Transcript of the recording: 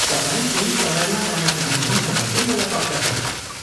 तपाईँ त्यही समयमा जान चाहनुहुन्छ भन्ने मलाई पक्का छैन।